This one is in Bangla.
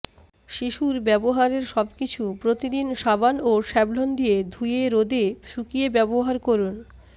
শিশুর ব্যবহারের সব কিছু প্রতিদিন সাবান ও স্যাভলন দিয়ে ধুয়ে রোদে শুকিয়ে ব্যবহার করুন